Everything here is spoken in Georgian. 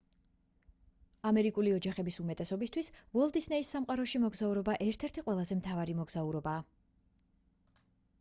ამერიკული ოჯახების უმეტესობისთვის უოლტ დისნეის სამყაროში მოგზაურობა ერთ-ერთი ყველაზე მთავარი მოგზაურობაა